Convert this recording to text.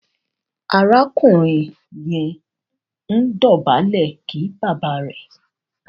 arákùnrin yẹ ǹ dobale kí bàbá rẹ